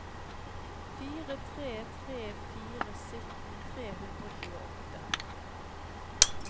fire tre tre fire sytten tre hundre og tjueåtte